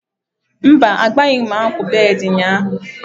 Mba, agbanweghị m akwa akwa bed ụnyahụ